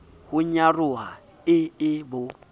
ho nyaroha e e bo